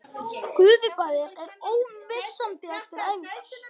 Gufubaðið er ómissandi eftir æfingar